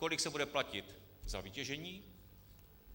Kolik se bude platit za vytěžení?